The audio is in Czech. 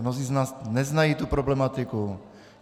Mnozí z nás neznají tu problematiku.